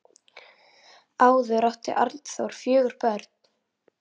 Áður átti Arnþór fjögur börn.